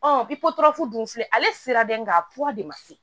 bi potorafu dun filɛ ale sera dɛ nga kura de ma se